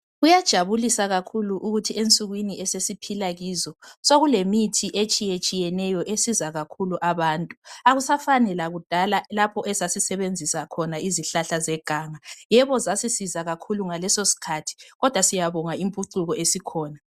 Kuyajabulisa kakhulu ukuthi ensukwini esesiphila kizo sekulemithi etshiyetshiyeneyo esizakakhulu abantu akusafani lakudala lapho esasisebenzisa khona izihlahla zeganga yebo zasisiza kakhulu ngaleso sikhathi kodwa siyabonga impucuko esikhona